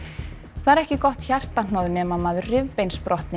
það er ekki gott hjartahnoð nema maður